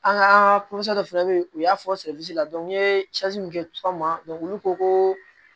An ka dɔ fɛnɛ bɛ yen u y'a fɔ la n ye min kɛ tuma olu ko ko